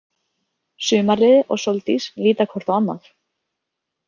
Sumarliði og Sóldís líta hvort á annað.